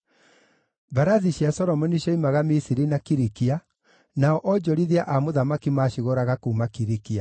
Mbarathi cia Solomoni cioimaga Misiri na kuuma Kilikia, nao onjorithia a mũthamaki maacigũraga kuuma Kilikia.